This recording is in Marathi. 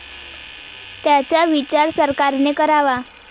त्याचा विचार सरकारने करावा.